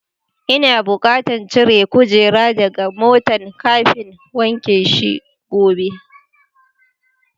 N'na bukatan cire kujerun daga motan kafin wanke shi gobe.